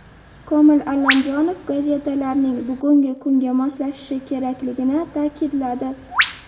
Komil Allamjonov gazetalarning bugungi kunga moslashishi kerakligini ta’kidladi.